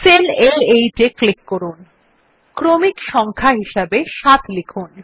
sell আ8 এ click করুন এবং ক্রমিক সংখ্যা হিসাবে ৭ লিখুন